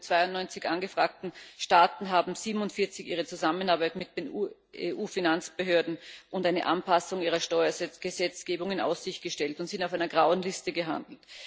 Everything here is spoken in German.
von den 92 angefragten Staaten haben nämlich 47 ihre Zusammenarbeit mit den EU Finanzbehörden und eine Anpassung ihrer Steuergesetzgebung in Aussicht gestellt und sind auf einer grauen Liste gelandet.